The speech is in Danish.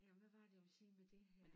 Jamen hvad var det jeg ville sige med det her